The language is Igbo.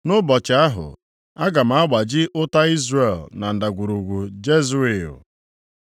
Nʼụbọchị ahụ, aga m agbaji ụta Izrel na Ndagwurugwu Jezril.”